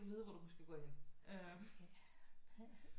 Du vide hvor du skal gå hen